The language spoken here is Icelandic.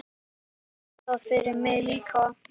Gerðu það fyrir mig líka.